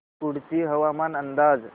कुडची हवामान अंदाज